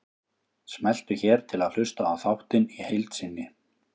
Smelltu hér til að hlusta á þáttinn í heild sinni